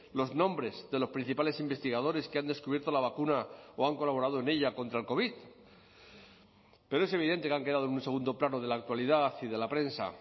los nombres de los principales investigadores que han descubierto la vacuna o han colaborado en ella contra el covid pero es evidente que han quedado en un segundo plano de la actualidad y de la prensa